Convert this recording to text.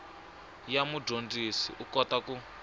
ya mudyondzi u kota ku